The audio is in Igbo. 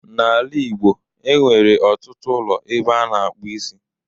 N'ala Ịgbo, e nwere ọtụtụ ụlọ ebe a na-akpụ isi.